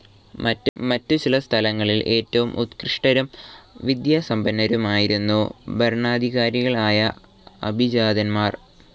മറ്റു ചില സ്ഥലങ്ങളിൽ ഏറ്റവും ഉത്കൃഷ്ടരും വിദ്യാസമ്പന്നരുമായിരുന്നു ഭരണാധികാരികളായ അഭിജാതൻമാർ.